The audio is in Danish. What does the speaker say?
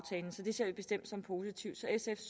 det ser vi bestemt som positivt